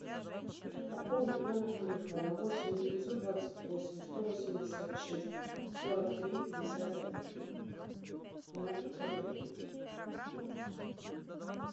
пополнить номер телефона восемь девятьсот двадцать восемь сто восемьдесят шесть сорок три пятьдесят один на пятьсот рублей